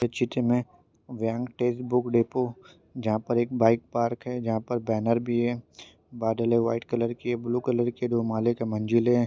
इस चित्र में व्यंकटेश बुक डेपो जहा पर एक बाइक पार्क है जहा पर बैनर भी है बादल है व्हाइट कलर के ब्लू कलर के दो माले के मंजिले है।